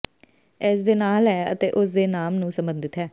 ਇਸ ਦੇ ਨਾਲ ਹੈ ਅਤੇ ਉਸ ਦੇ ਨਾਮ ਨੂੰ ਸੰਬੰਧਿਤ ਹੈ